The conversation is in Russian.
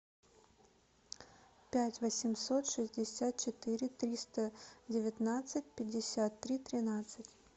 пять восемьсот шестьдесят четыре триста девятнадцать пятьдесят три тринадцать